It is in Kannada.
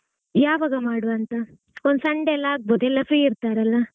ಯಾವಾಗಾ ಮಾಡ್ವಾ ಅಂತಾ ಒಂದು sunday ಎಲ್ಲ ಆಗಬೋದ್ ಎಲ್ಲಾ free ಇರ್ತಾರಲ್ಲಾ.